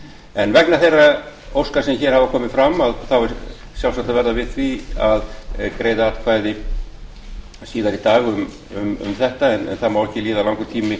en vegna þeirra óska sem hér hafa komið fram er sjálfsagt að verða við því að greiða atkvæði síðar í dag um þetta en það má ekki líða langur tími